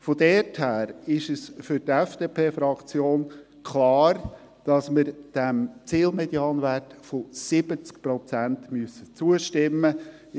Daher ist es für die FDP-Fraktion klar, dass wir diesem Zielmedianwert von 70 Prozent zustimmen müssen.